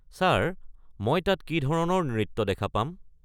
Sir, মই তাত কি ধৰণৰ নৃত্য দেখা পাম?